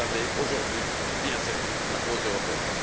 Vous avez aujourd'hui bien servi la cause européenne!